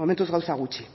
momentuz gauza gutxi